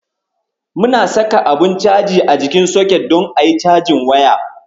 Muna saka abun caji a jikin socket don ayi cajin waya.